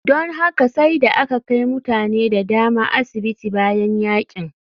Don haka sai da aka kai mutane da dama asibiti bayan yakin.